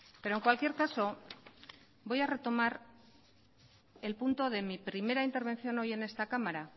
pero en cualquier caso voy a retomar el punto de mi primera intervención hoy en esta cámara